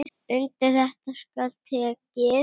Undir þetta skal tekið.